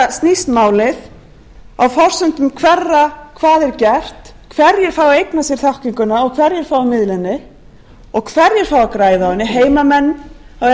þetta snýst málið á forsendum hverra hvað er gert hverjir fái að eigna sér þekkinguna hverjir fái að miðla henni og hverjir fái að græða á henni heimamenn á